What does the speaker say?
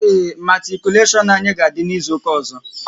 Ee, matikuleshon anyị ga-adị n'izuka ọzọ